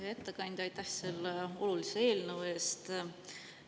Hea ettekandja, aitäh selle olulise eelnõu eest!